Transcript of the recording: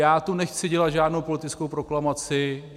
Já tu nechci dělat žádnou politickou proklamaci.